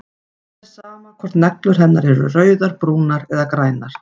Það er sama hvort neglur hennar eru rauðar, brúnar eða grænar.